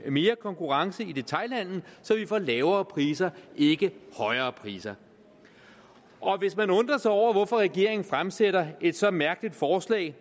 mere konkurrence i detailhandelen så vi får lavere priser ikke højere priser hvis man undrer sig over hvorfor regeringen fremsætter et så mærkeligt forslag